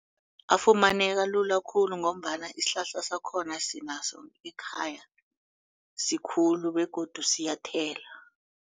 Afumaneka lula khulu ngombana isihlahla sakhona sinaso ekhaya sikhulu begodu siyathela.